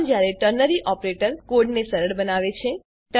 આમ જયારે ternary operator કોડને સરળ બનાવે છે